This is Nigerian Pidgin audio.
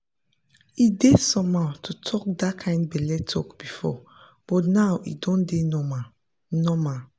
e dey somehow to talk that kind belle talk before but now e don dey normal. normal.